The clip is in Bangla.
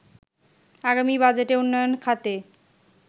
আগামী বাজেটে উন্নয়ন খাতে